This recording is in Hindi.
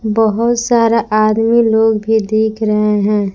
बहोत सारा आदमी लोग भी दिख रहे हैं।